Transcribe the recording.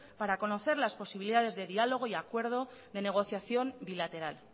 para conocer las posibilidades de diálogo y de acuerdo y de negociación bilateral